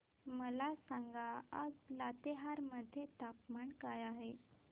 मला सांगा आज लातेहार मध्ये तापमान काय आहे